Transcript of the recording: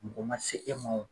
Mɔgɔ ma se e ma